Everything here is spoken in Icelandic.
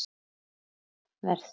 Þið verð